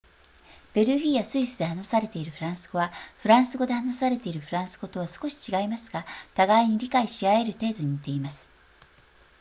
ベルギーやスイスで話されているフランス語はフランスで話されているフランス語とは少し違いますが互いに理解し合える程度に似ています